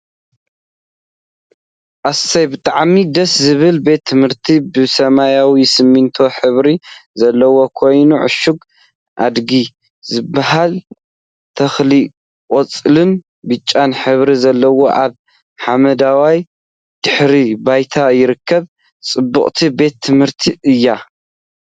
ኣሰይ ብጣዕሚ ደስ ዝብል ቤት ትምህርቲ ብሰማያዊን ስሚንቶን ሕብሪ ዘለዎኦ ኮይኑ፥ ዕሾክ ኣድጊ ዝበሃል ተክሊ ቆጻልን ብጫን ሕብሪ ዘለዎም ኣብ ሓመደዋይድሕረ ባይታ ይርከቡ። ፅብቅቲ ቤት ትምህርቲ እያ።